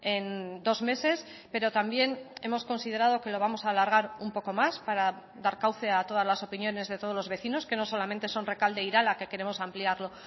en dos meses pero también hemos considerado que lo vamos a alargar un poco más para dar cauce a todas las opiniones de todos los vecinos que no solamente son recalde e irala que queremos ampliarlo